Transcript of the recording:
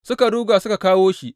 Suka ruga suka kawo shi.